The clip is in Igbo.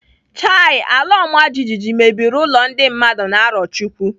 Chai! Alaọmajijiji mebiri ụlọ ndị mmadụ na Arọchukwu.